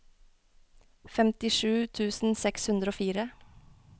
femtisju tusen seks hundre og fire